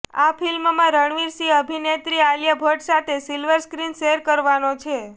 આ ફિલ્મમાં રણવીર સિંહ અભિનેત્રી આલિયા ભટ સાથે સિલ્વર સ્ક્રીન શેયર કરવાનો છે